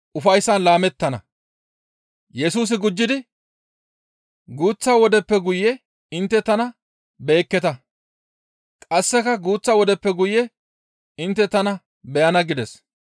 Yesusi gujjidi, «Guuththa wodeppe guye intte tana beyekketa; qasseka guuththa wodeppe guye intte tana beyana» gides.